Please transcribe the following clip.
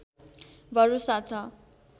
भरोसा छ